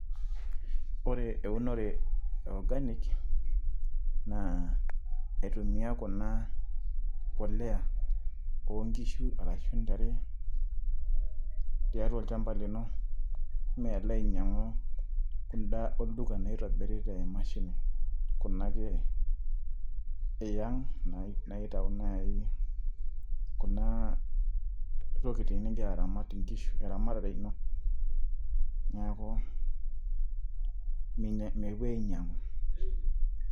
Ore eunore e organic naa aitumia kuna poleya ooh nkishu arashu intare tiatua olshamba lino, Mee alo ainyang'u kuda olduka naitobiri te Mashini kuna ake ee yiang naitau naai kuna tokitin nigira aramat, nkishu ee ramatare ino neeku, mepoi ainyang'u.